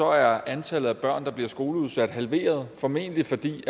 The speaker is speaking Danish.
er antallet af børn der bliver skoleudsat halveret formentlig fordi